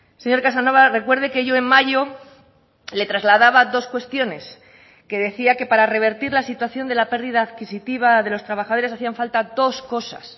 señor casanova recuerde que yo en mayo le trasladaba dos cuestiones que decía que para revertir la situación de la pérdida adquisitiva de los trabajadores hacían falta dos cosas